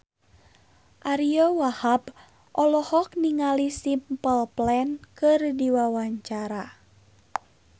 Ariyo Wahab olohok ningali Simple Plan keur diwawancara